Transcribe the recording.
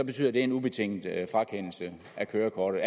betyder det en ubetinget frakendelse af kørekortet